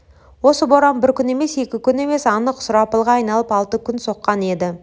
осы боран бір күн емес екі күн емес анық сұрапылға айналып алты күн соққан еді